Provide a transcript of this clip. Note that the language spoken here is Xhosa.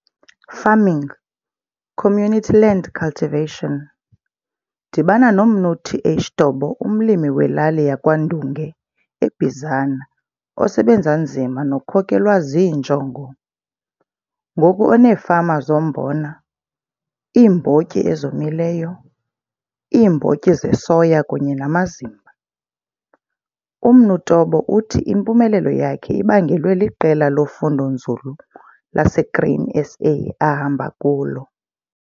Farming. Community land cultivation. Dibana noMnu TH Tobo umlimi welali yaKwa Ndunge eBizana osebenza nzima nokhokelwa ziinjongo, ngoku oneefama zombona, iimbotyi ezomileyo, iimbotyi zesoya kunye namazimba. UMnu Tobo uthi impumelelo yakhe ibangelwe liqela lofundo-nzulu laseGrain SA ahamba kulo.